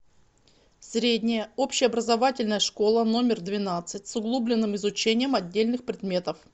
средняя общеобразовательная школа номер двенадцать с углубленным изучением отдельных предметов